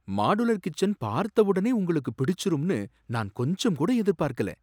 Modular kitchen பார்த்த உடனே உங்களுக்கு பிடிச்சிரும்னு நான் கொஞ்சம்கூட எதிர்பார்க்கல.